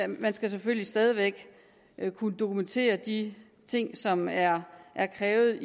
man skal selvfølgelig stadig væk kunne dokumentere de ting som er er krævet